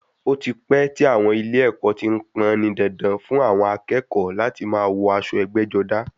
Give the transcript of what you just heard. Ó ti pẹ́ tí àwọn ilé ẹ̀kọ́ ti pọn-ọ́n ní dandan fún àwọn akẹ́kọ̀ọ́ láti máa wọ aṣọ ẹgbẹ́-jọdá.